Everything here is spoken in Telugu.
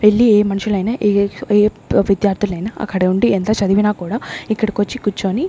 వెళ్ళి ఏ మనుషులైనా ఏ ఎస్ ఏ విద్యార్థులైన అక్కడ ఉండి ఎంత చదివినా కూడా ఇక్కడికొచ్చి కుర్చోని --